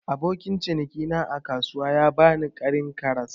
Abokin ciniki na a kasuwa ya bani Karin karas.